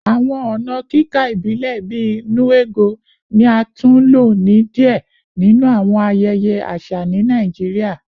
Awọn ọna kika ibilẹ bii “nnu ego” ni a tun lo ni diẹ ninu awọn ayẹyẹ aṣa ni Naijiria